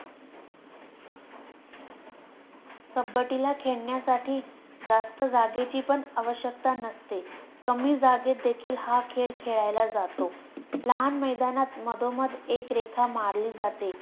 कब्बडी ला खेळण्यासाठी जास्त जागेची पण आवश्यकता नसते, कमी जागेत देखील हा खेळ खेळला जातो. लहान मैदानात मधोमध एक रेखा मारली जाते.